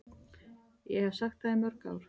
Ég hef sagt það í mörg ár.